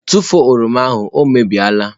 Tụfuo oroma ahụ! ọ mebie la.